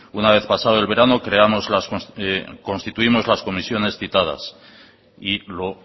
una vez pasado el verano constituimos las comisiones citadas y lo